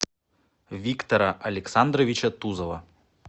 виктора александровича тузова